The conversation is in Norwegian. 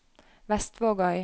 Vestvågøy